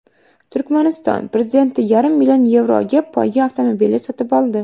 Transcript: Turkmaniston prezidenti yarim million yevroga poyga avtomobili sotib oldi.